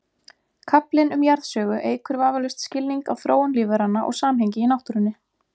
Kaflinn um jarðsögu eykur vafalaust skilning á þróun lífveranna og samhengi í náttúrunni.